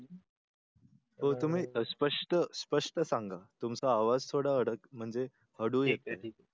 तुम्ही स्पष्ट स्पष्ट सांगा तुमचा आवाज थोडा अडक म्हणजे हळू येतोय.